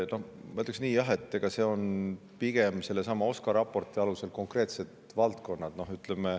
Ma ütleksin nii, jah, et eks need on pigem sellesama OSKA raporti alusel konkreetsed valdkonnad.